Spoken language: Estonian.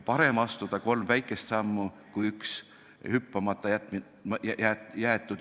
Parem astuda kolm väikest sammu kui plaanida hüpet, mis jääb hüppamata.